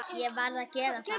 Ég varð að gera það.